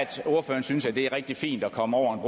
ordføreren synes det er rigtig fint at komme over